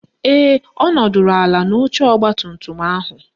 Ee, ọ nọdụrụ ala n'oche ọgbatumtum ahụ